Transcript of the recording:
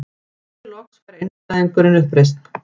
Hér loks fær einstæðingurinn uppreisn.